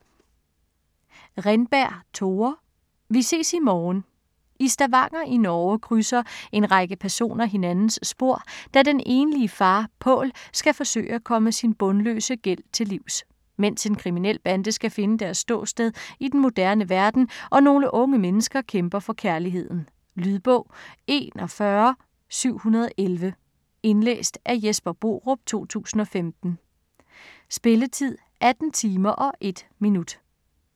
Renberg, Tore: Vi ses i morgen I Stavanger i Norge krydser en række personer hinandens spor, da den enlige far Pål skal forsøge at komme sin bundløse gæld til livs, mens en kriminel bande skal finde deres ståsted i den moderne verden, og nogle unge mennesker kæmper for kærligheden. Lydbog 41711 Indlæst af Jesper Borup, 2015. Spilletid: 18 timer, 1 minutter.